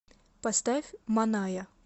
поставь маная